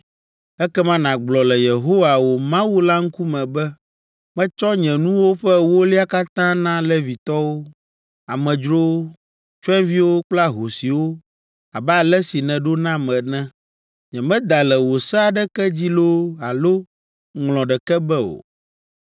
Ekema nàgblɔ le Yehowa, wò Mawu la ŋkume be, ‘Metsɔ nye nuwo ƒe ewolia katã na Levitɔwo, amedzrowo, tsyɔ̃eviwo kple ahosiwo abe ale si nèɖo nam ene. Nyemeda le wò se aɖeke dzi loo alo ŋlɔ ɖeke be o.